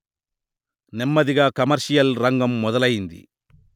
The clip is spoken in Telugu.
నెమ్మదిగా కమర్షియల్ రంగం మొదలయింది